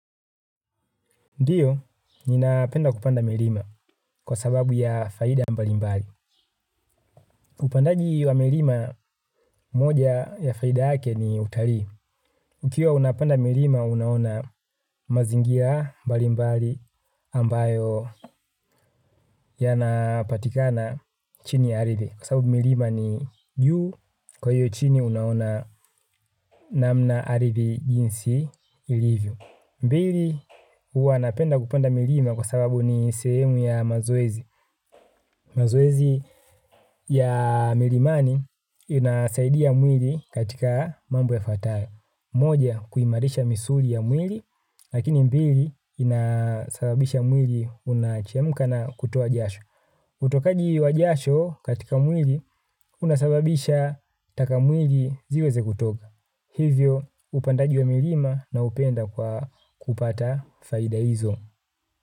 Ndiyo, ninapenda kupanda milima kwa sababu ya faida mbali mbali. Upandaji wa milima moja ya faida yake ni utalii. Ukiwa unapanda milima, unaona mazingira mbalimbali ambayo yanapatikana chini ya ardhi. Kwa sababu milima ni juu, kwa hiyo chini unaona namna ardhi jinsi ilivyo. Mbili, huwa napenda kupanda milima kwa sababu ni sehemu ya mazoezi. Mazoezi ya milimani inasaidia mwili katika mambo yafatayo. Moja, kuimarisha misuli ya mwili, lakini mbili, inasababisha mwili unachemka na kutoa jasho. Utokaji wa jasho katika mwili unasababisha taka mwili ziweze kutoka. Hivyo upandaji wa milima naupenda kwa kupata faida hizo.